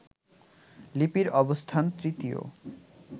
লিপির অবস্থান তৃতীয়